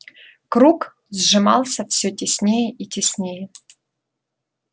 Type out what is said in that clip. круг сжимался всё теснее и теснее